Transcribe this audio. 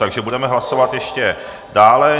Takže budeme hlasovat ještě dále.